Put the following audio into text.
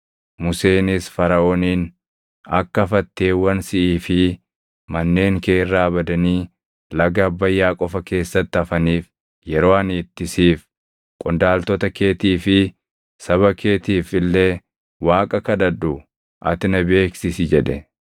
Museenis Faraʼooniin, “Akka fatteewwan siʼii fi manneen kee irraa badanii laga Abbayyaa qofa keessatti hafaniif yeroo ani itti siif, qondaaltota keetii fi saba keetiif illee Waaqa kadhadhu ati na beeksisi” jedhe.